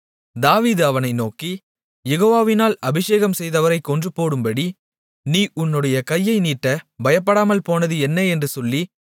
தாவீது அவனை நோக்கி யெகோவாவினால் அபிஷேகம் செய்தவரைக் கொன்றுபோடும்படி நீ உன்னுடைய கையை நீட்டப் பயப்படாமல் போனது என்ன என்று சொல்லி